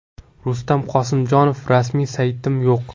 Rustam Qosimjonov: Rasmiy saytim yo‘q.